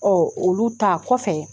olu ta kɔfɛ